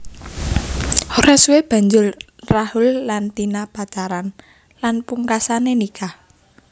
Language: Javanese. Ora suwe banjur Rahul lan Tina pacaran lan pungkasane nikah